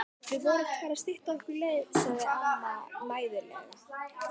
Við vorum bara að stytta okkur leið sagði amma mæðulega.